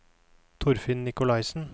Torfinn Nikolaisen